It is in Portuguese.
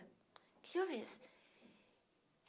O que que eu fiz?